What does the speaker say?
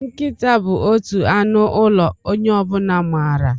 Nkịta bụ otu anụ ụlọ onye ọ bụla maara.